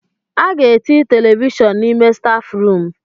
A ga-eti televishọn n'ime stáfụrụm.